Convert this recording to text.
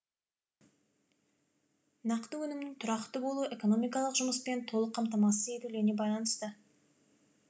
нақты өнімнің тұрақты болуы экономикалық жұмыспен толық қамтамасыз етілуіне байланысты